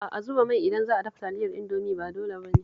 A'a, zuba mai idan za a dafa Taliyar Indomi ba dole ba ne